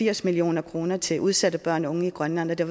firs million kroner til udsatte børn og unge i grønland og det